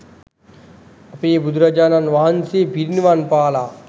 අපේ බුදුරජාණන් වහන්සේ පිරිනිවන්පාලා